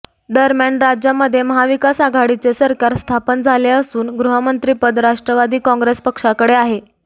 दरम्यान राज्यामध्ये महाविकास आघाडीचे सरकार स्थापन झाले असून गृहमंत्रीपद राष्ट्रवादी काँग्रेस पक्षाकडे आहे